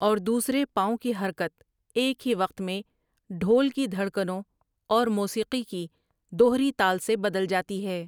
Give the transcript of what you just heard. اور دوسرے پاؤں کی حرکت ایک ہی وقت میں ڈھول کی دھڑکنوں اور موسیقی کی دوہری تال سے بدل جاتی ہے۔